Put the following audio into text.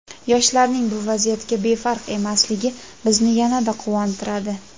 yoshlarning bu vaziyatga befarq emasligi bizni yanada quvontiradi.